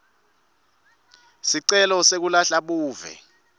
sicelo sekulahla buve